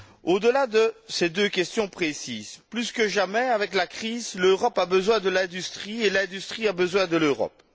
Au delà de ces deux questions précises, plus que jamais, avec la crise, l'Europe a besoin de l'industrie et l'industrie a besoin de l'Europe.